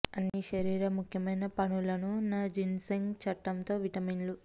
అన్ని శరీర ముఖ్యమైన పనులను న జిన్సెంగ్ చట్టం తో విటమిన్లు